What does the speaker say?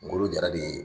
Golo jarali ye